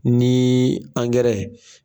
Ni